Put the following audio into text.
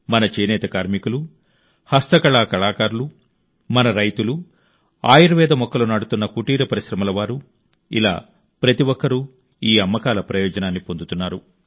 మన చేనేత కార్మికులు హస్తకళా కళాకారులు మన రైతులు ఆయుర్వేద మొక్కలు నాటుతున్న కుటీర పరిశ్రమల వారు ఇలా ప్రతి ఒక్కరూ ఈ అమ్మకాల ప్రయోజనాన్ని పొందుతున్నారు